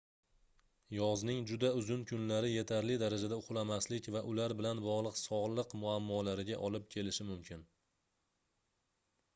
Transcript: yozning juda uzun kunlari yetarli darajada uxlamaslik va ular bilan bogʻliq sogʻliq muammolariga olib kelishi mumkin